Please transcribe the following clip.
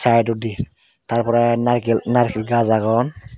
hato de tar pore narikul gash agon.